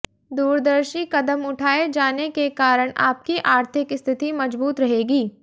दुरदर्शी कदम उठाए जाने के कारण आपकी आर्थिक स्थिति मजबूत रहेगी